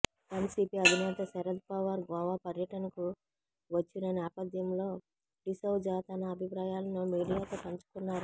NCP అధినేత శరద్ పవార్ గోవా పర్యటనకు వచ్చిన నేపథ్యంలో డిసౌజా తన అభిప్రాయాలను మీడియాతో పంచుకున్నారు